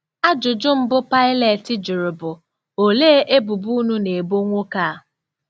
Ajụjụ mbụ Paịlet jụrụ bụ: “Olee ebubo unu na-ebo nwoke a?”